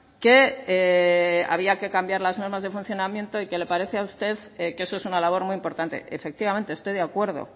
que había que cambiar las normas de funcionamiento y que le parece a usted que eso es una labor muy importante efectivamente estoy de acuerdo